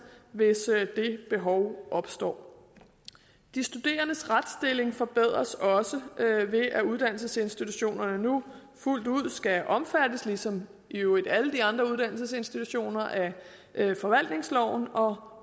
hvis det behov opstår de studerendes retsstilling forbedres også ved at uddannelsesinstitutionerne nu fuldt ud skal omfattes ligesom i øvrigt alle de andre uddannelsesinstitutioner af forvaltningsloven og